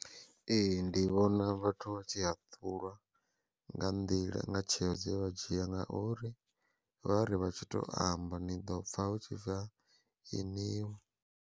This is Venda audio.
Ee ndi vhona vhathu vha tshi haṱulwa nga nḓila nga tsheo dze vha dzhia, nga uri vha ri vha tshi to amba ni ḓo pfha hu tshi bva ini vho.